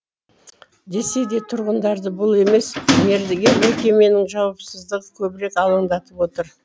десе де тұрғындарды бұл емес мердігер мекеменің жауапсыздығы көбірек алаңдатып отыр